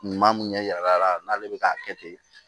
Ɲuman mun ɲɛ yira a la n'ale bɛ k'a kɛ ten